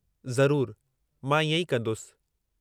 ज़रूरु, मां इएं ई कंदुसि।